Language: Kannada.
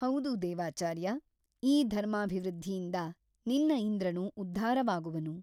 ಹೌದು ದೇವಾಚಾರ್ಯ ಈ ಧರ್ಮಾಭಿವೃದ್ಧಿಯಿಂದ ನಿನ್ನ ಇಂದ್ರನು ಉದ್ಧಾರವಾಗುವನು.